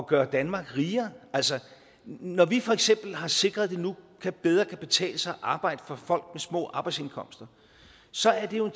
gøre danmark rigere når vi for eksempel har sikret at det nu bedre kan betale sig at arbejde for folk små arbejdsindkomster så er det jo